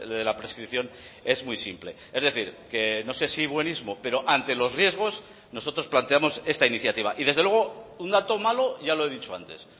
de la prescripción es muy simple es decir que no sé si buenismo pero ante los riesgos nosotros planteamos esta iniciativa y desde luego un dato malo ya lo he dicho antes